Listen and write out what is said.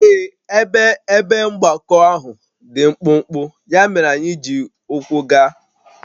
Ee, ebe ebe mgbakọ ahụ dị mkpụmkpụ, ya mere anyị ji ụkwụ gaa